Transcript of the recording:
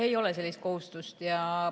Ei ole sellist kohustust.